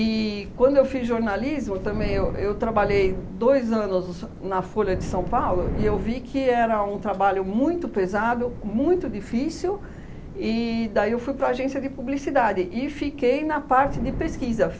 E quando eu fiz jornalismo, também eu eu trabalhei dois anos na Folha de São Paulo e eu vi que era um trabalho muito pesado, muito difícil, e daí eu fui para a agência de publicidade e fiquei na parte de pesquisa.